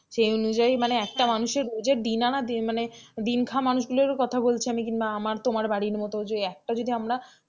সে অনুযায়ী মানে একটা মানুষের রোজের দিন আনার মানে দিন খাওয়া মানুষগুলোর কথা বলছি আমি, কিংবা আমার তোমার বাড়ির মতন যে একটা যদি আমরা,